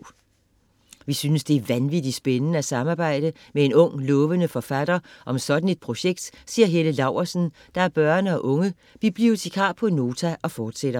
- Vi synes, det er vanvittigt spændende at samarbejde med en ung, lovende forfatter om sådan et projekt, siger Helle Laursen, der er børne- og unge bibliotekar på Nota og fortsætter: